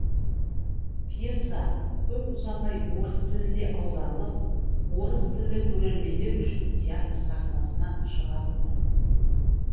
пьеса көп ұзамай орыс тіліне аударылып орыс тілді көрермендер үшін театр сахнасына шығарылды